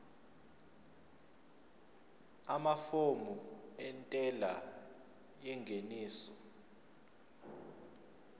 amafomu entela yengeniso